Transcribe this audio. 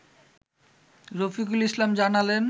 রফিকুল ইসলাম জানালেন